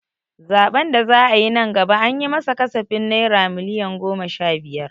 Zaɓen da za'a yi nan gaba an yi ma sa kasafin naira miliyon goma sha biyar.